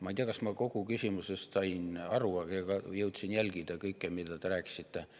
Ma ei tea, kas ma kogu küsimusest sain aru ja jõudsin jälgida kõike, mida te rääkisite.